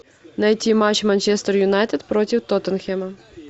найти матч манчестер юнайтед против тоттенхэма